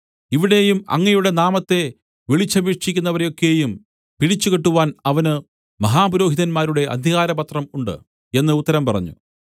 ഇവിടെയും അങ്ങയുടെ നാമത്തെ വിളിച്ചപേക്ഷിക്കുന്നവരെ ഒക്കെയും പിടിച്ചുകെട്ടുവാൻ അവന് മഹാപുരോഹിതന്മാരുടെ അധികാരപത്രം ഉണ്ട് എന്ന് ഉത്തരം പറഞ്ഞു